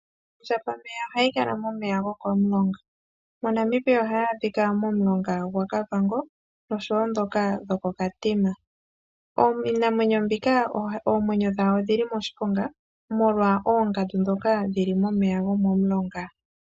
Ondjambameya ohayi kala momeya gokomulonga. MoNamibia ohayi adhika momulonga gwaKavango nosho wo dhoka dhokoKatima. Iinamwenyo mbika oomwenyo dhawo odhili moshiponga molwa oongandu dhoka dhili momeya gokomulonga.